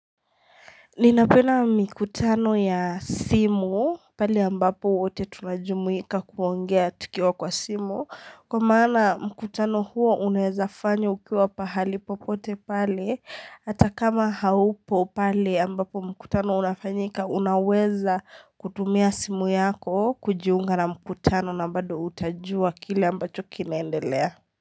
Ninapenda mikutano ya simu pale ambapo wote tunajumuika kuongea tukiwa kwa simu Kwa maana mkutano huo unaeza fanya ukiwa pahali popote pale hata kama haupo pale ambapo mkutano unafanyika unaweza kutumia simu yako kujiunga na mkutano na bado utajua kile ambacho kinaendelea.